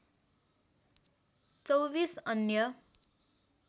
२४ अन्य